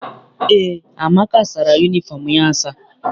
Eé, Amaka sara yunifọm ya asa.